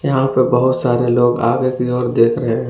यहां पे बहोत सारे लोग आगे की ओर देख रहे हैं।